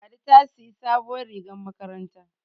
Ladi ta siyi sabuwar rigar makaranta